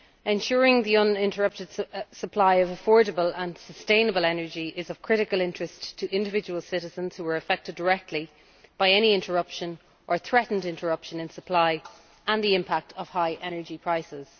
Ensuring the uninterrupted supply of affordable and sustainable energy is of critical interest to individual citizens who are affected directly by any interruption, or threatened interruption, in supply as well as the impact of high energy prices.